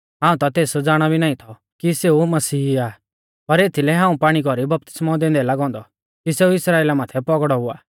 हाऊं ता तेस ज़ाणा भी नाईं थौ कि सेऊ मसीही आ पर एथीलै हाऊं पाणी कौरी बपतिस्मौ दैंदै लागौ औन्दौ कि सेऊ इस्राइला माथै पौगड़ौ हुआ